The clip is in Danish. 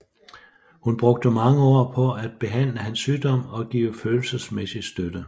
Hun brugte mange år på at behandle hans sygdom og give følelsesmæssig støtte